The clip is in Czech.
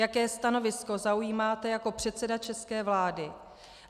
Jaké stanovisko zaujímáte jako předseda české vlády?